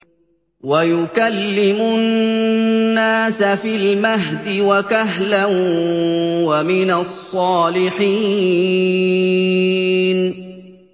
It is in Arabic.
وَيُكَلِّمُ النَّاسَ فِي الْمَهْدِ وَكَهْلًا وَمِنَ الصَّالِحِينَ